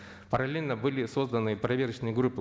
параллельно были созданы проверочные группы